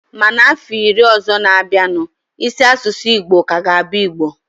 Ma na ọfọ iri ọzọ ga-abianu, isi asụsụ Igbo ka ga-abụ Igbo